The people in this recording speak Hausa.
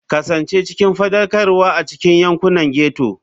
Kasance cikin faɗakarwa a cikin yankunan ghetto.